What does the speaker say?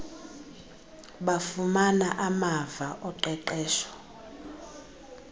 bafumana amava oqeqesho